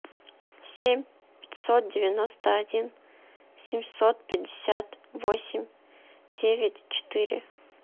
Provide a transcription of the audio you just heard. семь пятьсот девяносто один семьсот пятьдесят восемь девять четыре